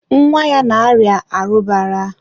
nwa ya na-arịa arụbara.